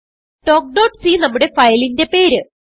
talkസി നമ്മുടെ ഫയലിന്റെ പേര്